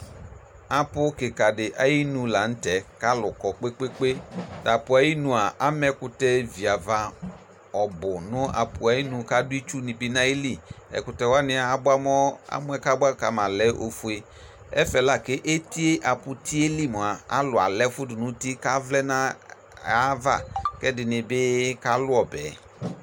Apʋ kɩka dɩ ayinu la nʋ tɛ kʋ alʋ kɔ kpe-kpe-kpe Tʋ apʋ ayinu a, ama ɛkʋtɛ viava ɔbʋ nʋ apʋ yɛ nu kʋ adʋ itsunɩ bɩ nʋ ayili Ɛkʋtɛ wanɩ abʋamɔ, amɔ yɛ kʋ abʋa ka ma lɛ ofue, ɛfɛ la kʋ eti yɛ, apʋti yɛ li mʋa, alʋ ala ɛfʋ dʋ nʋ uti kʋ avlɛ nʋ ayava kʋ ɛdɩnɩ bɩ kalʋ ɔbɛ yɛ